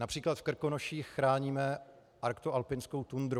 Například v Krkonoších chráníme arktoalpinskou tundru.